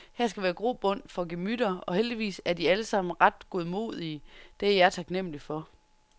Her skal være grobund for gemytter, og heldigvis er de alle sammen ret godmodige, det er jeg taknemmelig for.